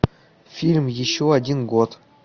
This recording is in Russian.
фильм еще один год